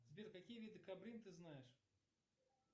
сбер какие виды кобрин ты знаешь